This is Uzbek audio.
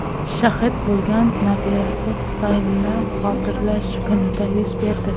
shahid bo‘lgan nabirasi Husaynni xotirlash kunida yuz berdi.